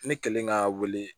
Ne kɛlen ka wele